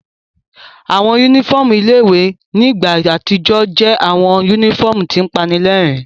Awọn unifọmú ile-iwe ni igba atijọ ǹ jẹ awọn unifọmu tin panilẹrin